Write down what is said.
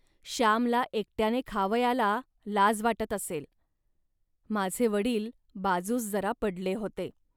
श्यामला एकट्याने खावयाला लाज वाटत असेल. माझे वडील बाजूस जरा पडले होते